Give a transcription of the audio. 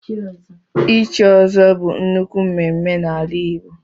ichi ọ́zọ́ bu nnukwu mmemmé n'ala igbo